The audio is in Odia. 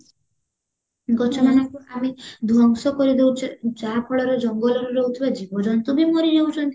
ଗଛ ମାନଙ୍କୁ ଆହୁରି ଧ୍ଵଂସ କରିଦଉଚେ ଯାହା ଫଳରେ ଜଙ୍ଗଲରେ ରହୁଥିବା ଜୀବ ଜନ୍ତୁବି ମରିଯାଉଚନ୍ତି